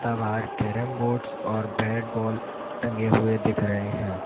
बाहर carrom boards और bat ball टंगे हुए दिख रहे हैं।